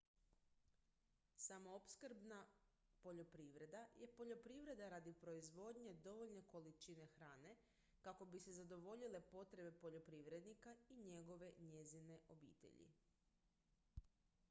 samoopskrbna poljoprivreda je poljoprivreda radi proizvodnje dovoljne količine hrane kako bi se zadovoljile potrebe poljoprivrednika i njegove/njezine obitelji